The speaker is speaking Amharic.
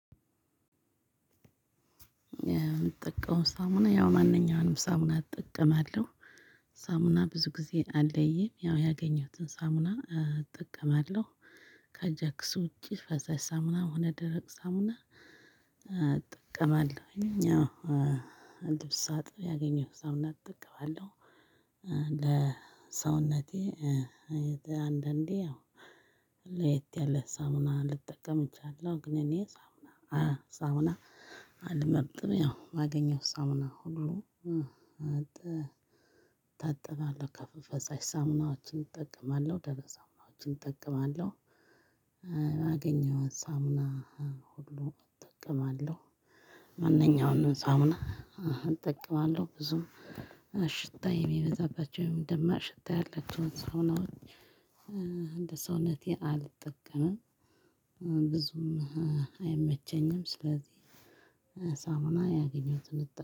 የምትጠቀመው ሳሙና ያው ማንኛውንምሳምና ሳሙና እጠቀማለሁ። ሳሙና ብዙ ጊዜ አለይም ያው ያገኘሁትን ሳሙና እጠቀማለሁ። ከጃክስ ውጪ ፈሳሽ ሳምና ሆነ ደረቅ ሳምና እጠቀማለሁኝ ያው ልብስ ሳጥብ ያገኘሁት ሳሙና እጠቀማለሁ ለሰውነቴ አንዳንዴ ለየት ያለ ሳምና ልጠቀምቻለሁ ግን እኔ ሳምና ሳምና አልመጥም ያው ማገኘውን ሳምና ሁሉ እጠብቃለሁ ከፍ ፈጻሽ ሳምናዎችን እጠቀማለሁ ደረስ ሳምናዎችን እጠቀማለሁ። ባገኘሁት ሳምና ሁሉ እጠቀማለሁ ማንኛውንም ሳምና እጠቀማለሁ ብዙም ሽታ የሚበዛባቸው ደማቅ ሽታ ታያለችው ሰው ነው እንደ ሰው ነቴ አልጠቀምም ብዙም አይመቸኝም ስለዚህ ሳሙና ያገኘሁትን